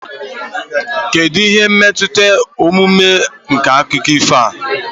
kedu ihe mmụta omume nke akụkọ ifo a